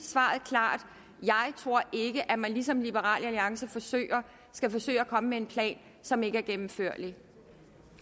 svaret klart jeg tror ikke at man ligesom liberal alliance skal forsøge at komme med en plan som ikke er gennemførlig